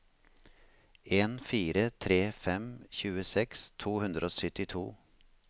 en fire tre fem tjueseks to hundre og syttito